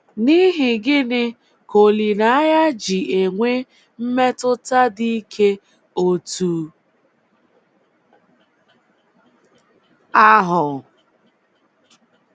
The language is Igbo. N’ihi gịnị ka olileanya ji enwe mmetụta dị ike otú ahụ?